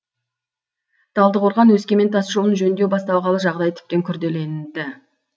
талдықорған өскемен тас жолын жөндеу басталғалы жағдай тіптен күрделенді